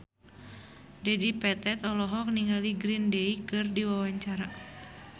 Dedi Petet olohok ningali Green Day keur diwawancara